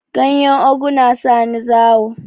Ganyen ogu na sani zawo